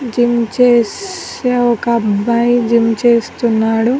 gym చేస్ ఒక అబ్బాయి జిమ్ చేస్తున్నాడు